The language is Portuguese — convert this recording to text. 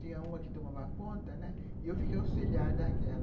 Tinha uma que tomava conta, né, e eu fiquei auxiliar daquela.